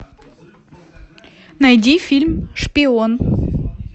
найди фильм шпион